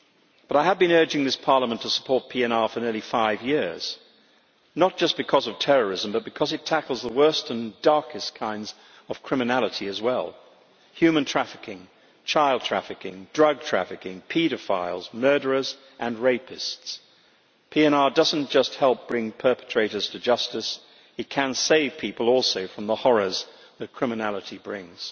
But I have been urging this Parliament to support PNR for nearly five years, not just because of terrorism but because it tackles the worst and darkest kinds of criminality as well human trafficking, child trafficking, drug trafficking, paedophiles, murderers and rapists. PNR does not just help bring perpetrators to justice, it can also save people from the horrors that criminality brings.